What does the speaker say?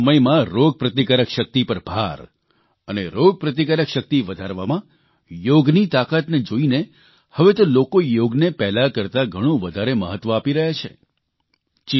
કોરોનાના આ સમયમાં રોગપ્રતિકાર શક્તિ પર ભાર અને રોગપ્રતિકાર શક્તિ વધારવામાં યોગની તાકાતને જોઇને હવે તે લોકો યોગને પહેલાં કરતાં ઘણું વધારે મહત્વ આપી રહ્યા છે